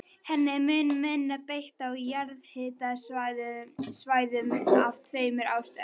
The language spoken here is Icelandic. Henni er mun minna beitt á jarðhitasvæðum af tveimur ástæðum.